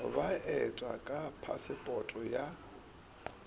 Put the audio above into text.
ba eta ka phasepote ya